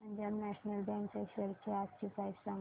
Punjab National Bank च्या shares आजची price सांगा